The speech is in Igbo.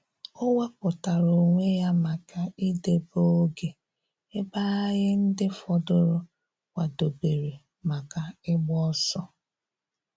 O wepụtara onwe ya maka idebe oge ebe anyị ndị fọdụrụ kwadobere maka ịgba ọsọ